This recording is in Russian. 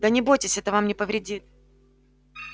да не бойтесь это вам не повредит